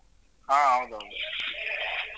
ಹಾ ಹೌದು ಹೌದು